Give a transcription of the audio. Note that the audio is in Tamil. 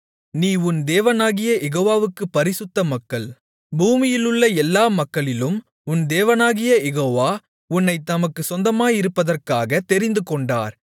நீ உன் தேவனாகிய யெகோவா வுக்குப் பரிசுத்த மக்கள் பூமியிலுள்ள எல்லா மக்களிலும் உன் தேவனாகிய யெகோவா உன்னைத் தமக்குச் சொந்தமாயிருப்பதற்காகத் தெரிந்துகொண்டார்